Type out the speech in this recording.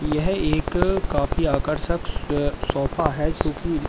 यह एक काफी आकर्षक सोफा है जो की--